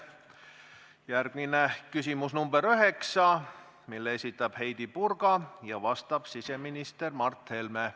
Järgmine on küsimus nr 9, mille esitab Heidy Purga ja millele vastab siseminister Mart Helme.